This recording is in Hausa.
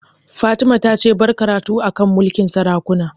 Fatima ta ce 'Bar karatu a kan mulkin sarakuna'!